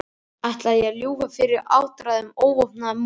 Ætlaði ég að lúffa fyrir áttræðum óvopnuðum munki?